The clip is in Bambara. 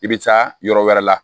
I bɛ taa yɔrɔ wɛrɛ la